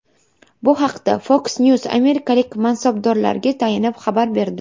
Bu haqda Fox News amerikalik mansabdorlarga tayanib xabar berdi.